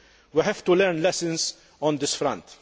We have to learn lessons on this front.